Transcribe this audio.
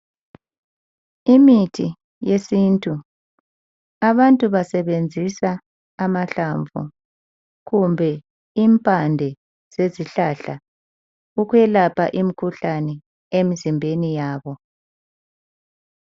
Imithi yesintu abantu basebenzisa amahlamvu kumbe impande zezihlahla ukwelapha imikhuhlane emzimbeni yabo.